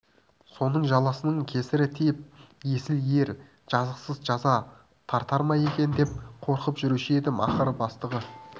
соның жаласының кесірі тиіп есіл ер жазықсыз жаза тартар ма екен деп қорқып жүруші едім ақыры бастығы